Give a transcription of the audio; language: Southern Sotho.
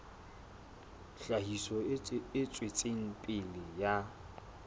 tlhahiso e tswetseng pele ya